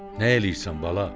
Nə eləyirsən, bala?